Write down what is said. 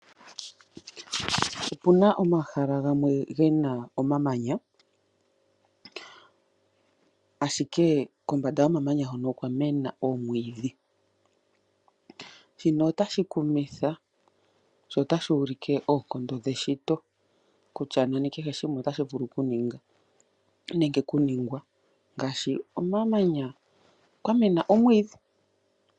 Opu na omahala gamwe ge na omamanya, ashike kombanda yomamanya hoka okwa mena omwiidhi. Shino otashi kumitha, sho otashi ulike oonkondo dheshito kutya nani kehe shimwe otashi vulu okuningwa ngaashi komamanya kwa mena omwiidhi.